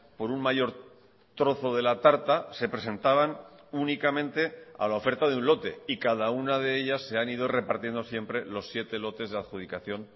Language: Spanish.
por un mayor trozo de la tarta se presentaban únicamente a la oferta de un lote y cada una de ellas se han ido repartiendo siempre los siete lotes de adjudicación